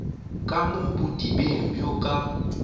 ka mo bodibeng bjo ka